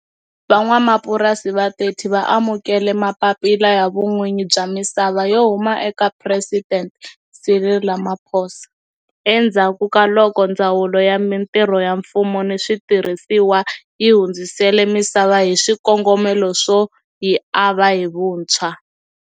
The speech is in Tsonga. Van'wamapurasi va 30 va amukele mapapila ya vun'winyi bya misava yo huma eka Presidente Cyril Ramaphosa endzhaku ka loko Ndzawulo ya Mitirho ya Mfumo ni Switirhisiwa yi hundzisele misava hi swikongomelo swo yi ava hi vuntshwa.